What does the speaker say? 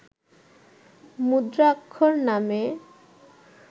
মুদ্রাক্ষর নামে